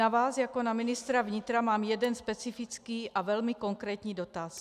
Na vás jako na ministra vnitra mám jeden specifický a velmi konkrétní dotaz.